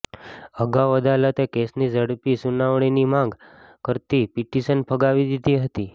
અગાઉ અદાલતે કેસની ઝડપી સુનાવણીની માગ કરતી પિટિશન ફગાવી દીધી હતી